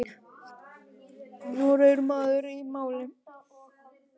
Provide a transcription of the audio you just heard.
Nokkur munur verði milli hæða.